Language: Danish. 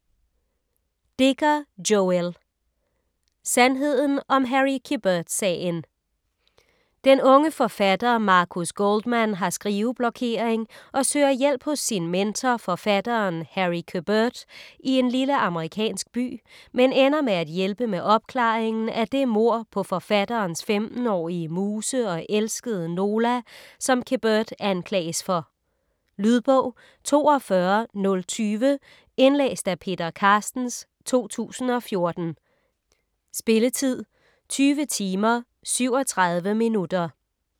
Dicker, Joël: Sandheden om Harry Quebert-sagen Den unge forfatter Marcus Goldman har skriveblokering og søger hjælp hos sin mentor, forfatteren Harry Quebert i en lille amerikansk by, men ender med at hjælpe med opklaringen af det mord på forfatterens 15-årige muse og elskede, Nola, som Quebert anklages for. Lydbog 42020 Indlæst af Peter Carstens, 2014. Spilletid: 20 timer, 37 minutter.